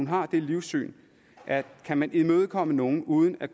har det livssyn at kan man imødekomme nogle uden at